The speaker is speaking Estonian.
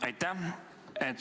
Aitäh!